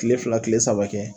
Tile fila, tile saba kɛ